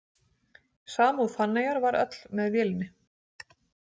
Samúð Fanneyjar var öll með vélinni.